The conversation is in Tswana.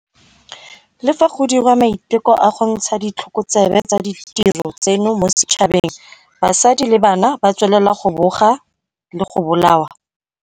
Le fa go diriwa maiteko a go ntsha ditlhokotsebe tsa ditiro tseno mo setšhabeng, basadi le bana ba tswelela go boga le go bolawa.